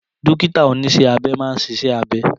Dókítà oníṣẹ́ abẹ máa ń ṣiṣẹ́ abẹ